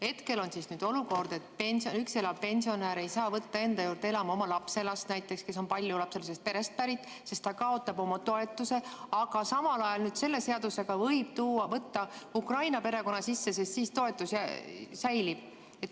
Hetkel on olukord, kus üksi elav pensionär ei saa võtta enda juurde elama näiteks oma lapselast, kes on paljulapselisest perest pärit, sest siis pensionär kaotab oma toetuse, aga samal ajal selle seadusega võib võtta Ukraina perekonna sisse, sest siis toetus säilib.